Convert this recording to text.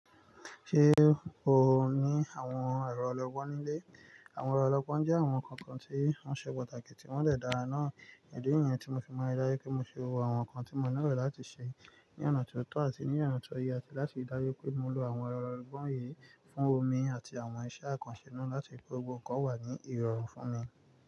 Ṣe o ni awọn ẹrọ ọlọgbọn ni ile? Awọn ẹrọ ọlọgbọn jẹ awọn nkan kan ti wọn ṣe pataki ti wọn dẹ dára naa. Idi niyẹn, mo fi mọ ri daju pe mo ṣe gbogbo awọn nkan ti mo nilọ lati ṣe ni ọna ti o tọ ati ni ọna ti o yẹ, lati ri daju pe mo lo awọn ẹrọ ọlọgbọn yii fun omi ati awọn iṣẹ akanṣe nla lati gbo gbogbo nkan wa ni irọrun fun mi.